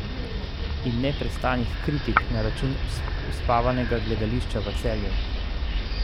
In neprestanih kritik na račun uspavanega gledališča v Celju?